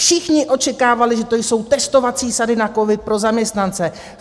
Všichni očekávali, že to jsou testovací sady na covid pro zaměstnance.